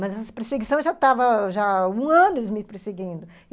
Mas essa perseguição já estava já há um ano eles me perseguindo.